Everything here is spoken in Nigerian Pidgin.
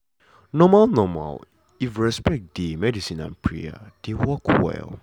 normal normal if respect dey medicine and prayer dey work well.